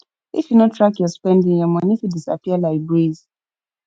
if you no track your spending your money fit disappear like breeze